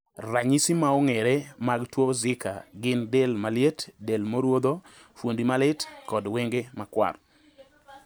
Ranyisi maong`ere mag tuo Zika gin del maliet, del morudho, fuondi malit, kod wenge makwar.